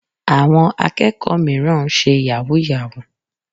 Àwọn akẹ́kọ̀ọ́ mìíràn ń ṣe yahoo yahoo.